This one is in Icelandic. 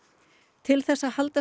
til þess að halda